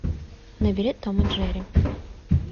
набери том и джерри